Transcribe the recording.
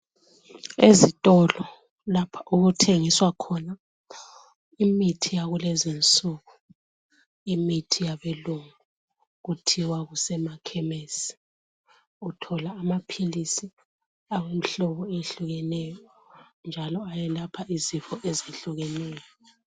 Ezitolo lapho okuthengiswa khona imithi yakulezi nsuku imithi yabelungu kuthiwa kusemakhemesi. Uthola amaphilisi awemhlobo eyehlukeneyo njalo ayelapha izifo ezehlukeneyo.